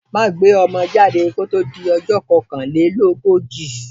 Má gbé ọmọ jáde kó tó di ọjọ́ kokanlelogoji.